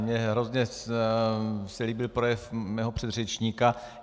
Mně se hrozně líbil projev mého předřečníka.